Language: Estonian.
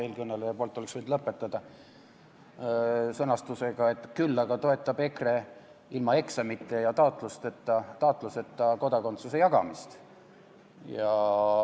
Eelkõneleja viimase lause oleks võinud lõpetada sõnastusega, et küll aga toetab EKRE ilma eksamite ja taotluseta kodakondsuse jagamist.